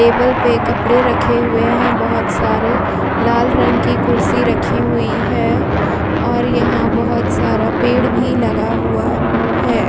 Table पे कपड़े रखे हुए हैं। बोहोत सारे लाल रंग की कुर्सी रखी हुई है और यहाँ बोहोत सारा पेड़ भी लगा हुआ है।